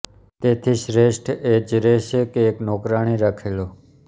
તેથી શ્રેષ્ઠ એ જ રહેશે કે એક નોકરાણી રાખી લો